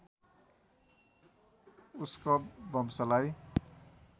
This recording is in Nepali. उस्कव वंशलाई